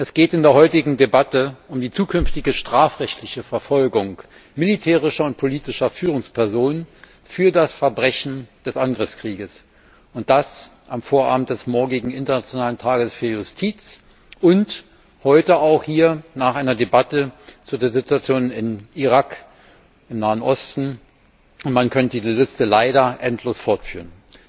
Es geht in der heutigen Debatte um die zukünftige strafrechtliche Verfolgung militärischer und politischer Führungspersonen für das Verbrechen des Angriffskrieges und das am Vorabend des morgigen Internationalen Tages für Justiz, und heute auch hier nach einer Debatte über die Situation in Irak, im Nahen Osten. Man könnte diese Liste leider endlos fortführen.